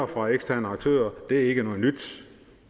fra eksterne aktører det er ikke noget nyt